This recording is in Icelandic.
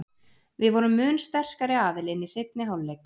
Við vorum mun sterkari aðilinn í seinni hálfleik.